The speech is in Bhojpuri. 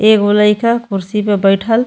एगो लइका कुर्सी पे बइठल --